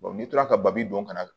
n'i tora ka bali don ka na